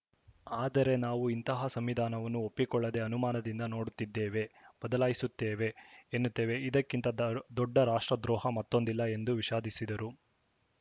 ಆದರೆ ನಾವು ಇಂತಹ ಸಂವಿಧಾನವನ್ನು ಒಪ್ಪಿಕೊಳ್ಳದೆ ಅನುಮಾನದಿಂದ ನೋಡುತ್ತಿದ್ದೇವೆ ಬದಲಾಯಿಸುತ್ತೇವೆ ಎನ್ನುತ್ತೇವೆ ಇದಕ್ಕಿಂತ ದ ದೊಡ್ಡ ರಾಷ್ಟ್ರದ್ರೋಹ ಮತ್ತೊಂದಿಲ್ಲ ಎಂದು ವಿಷಾಧಿಸಿದರು